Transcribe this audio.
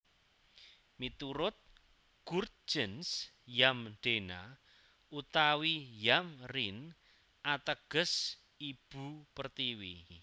Miturut Gurtjens Yamdena utawi Yamrene ateges Ibu Pertiwi